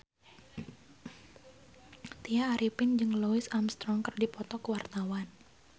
Tya Arifin jeung Louis Armstrong keur dipoto ku wartawan